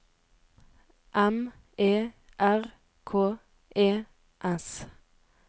M E R K E S